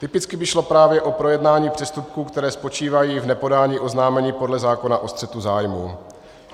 Typicky by šlo právě o projednání přestupků, které spočívají v nepodání oznámení podle zákona o střetu zájmů.